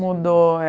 Mudou, é